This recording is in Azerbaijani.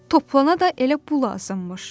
Toplana da elə bu lazımmış.